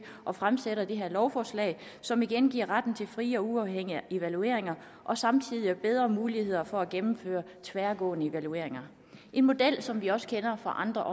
og fremsætter det her lovforslag som igen giver retten til frie og uafhængige evalueringer og samtidig bedre muligheder for at gennemføre tværgående evalueringer en model som vi også kender fra andre